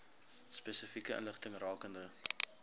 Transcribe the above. spesifieke inligting rakende